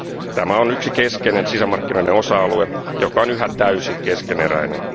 Tämä on yksi keskeinen sisämarkkinoiden osa alue, joka on yhä täysin keskeneräinen.